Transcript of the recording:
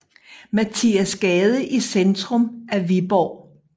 Mathias Gade i centrum af Viborg